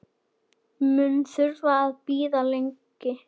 Mun þurfa að bíða lengi.